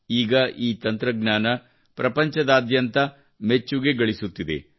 ಈಗ ಈ ತಂತ್ರಜ್ಞಾನವು ಪ್ರಪಂಚದಾದ್ಯಂತ ಮೆಚ್ಚುಗೆ ಗಳಿಸುತ್ತಿದೆ